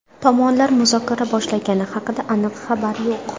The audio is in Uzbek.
Tomonlar muzokara boshlagani haqida aniq xabar yo‘q.